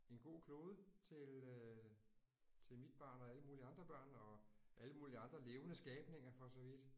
En god klode til øh til mit barn og alle mulige andre børn og alle mulige andre levende skabninger for så vidt